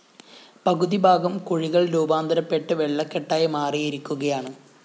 പകുതി ഭാഗം കുഴികള്‍ രൂപാന്തരപെട്ട് വെള്ളകെട്ടായി മാറിയിരിക്കുകയാണ്